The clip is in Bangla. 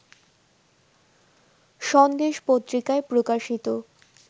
সন্দেশ পত্রিকায় প্রকাশিত